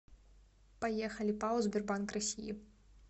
поехали пао сбербанк россии